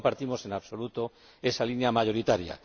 No compartimos en absoluto esa línea mayoritaria.